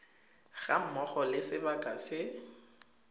ga mmogo le sebaka se